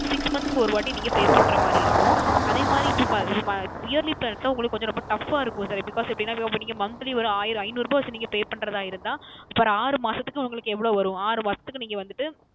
Six Month க்கு ஒரு வாட்டி நீங்க Pay பண்ணறமாரி இருக்கும் அதேமாரி இப்போ நம்ம Yearly Plan எடுத்தா உங்களுக்கு கொஞ்சம் Tough ஆ இருக்கும் Sir Because எப்படின நீங்க Monthly ஒரு ஆயிரம் ஒரு ஐநூறு வைத்து Pay பண்றதா இருந்தா For ஆறு மாதத்திற்கு உங்களுக்கு எவ்வளவு வரும் ஆறு வருஷத்துக்கு நீங்க வந்துட்டு